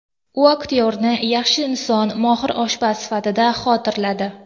U aktyorni yaxshi inson, mohir oshpaz sifatida xotirladi.